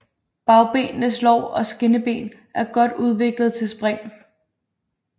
Bagbenenes lår og skinneben er godt udviklede til spring